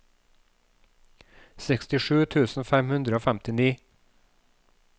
sekstisju tusen fem hundre og femtini